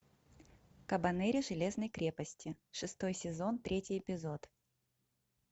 кабанери железной крепости шестой сезон третий эпизод